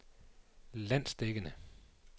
landsdækkende